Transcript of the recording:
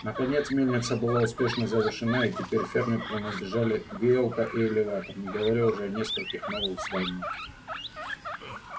наконец мельница была успешно завершена и теперь ферме принадлежали веялка и элеватор не говоря уже о нескольких новых зданиях